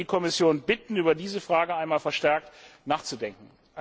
Ich würde die Kommission bitten, über diese Frage einmal verstärkt nachzudenken.